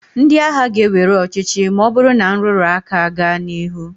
Ndị agha ga- ewere ọchịchị na ọ bụrụ na nrụrụ aka gaa n'ihu.